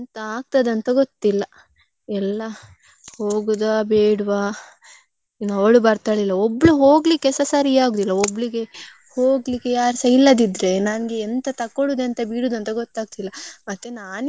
ಎಲ್ಲಾ ಹೋಗುದ ಬೇಡ್ವಾ ಇನ್ನು ಅವಳು ಬರ್ತಾಳ ಇಲ್ವಾ ಒಬ್ಬ್ಳು ಹೋಗ್ಲಿಕ್ಕೆಸ ಸರಿ ಆಗುದಿಲ್ಲ. ಒಬ್ಳಿಗೆ ಹೋಗ್ಲಿಕ್ಕೆ ಯಾರುಸ ಇಲ್ಲದಿದ್ರೆ ನನ್ಗೆ ಎಂತ ತಕೊಳ್ಳುದು ಎಂತ ಬಿಡುದು ಅಂತ ಗೊತ್ತಾಗ್ತಿಲ್ಲ. ಮತ್ತೆ ನಾನ್ ಯಾವ್ದಾದ್ರು ಒಂದು ಒಳ್ಳೆ ಬಟ್ಟೆ ತಕ್ಕೊಂಡ್ರೆ ಮತ್ತೆ ನಾನು ತಕ್ಕೊಳ್ಳುವಾಗ ಒಳ್ಳೆದಿರ್ತದೆ ನಾನು ಹಾಕಿದ್ ಮೇಲೆ.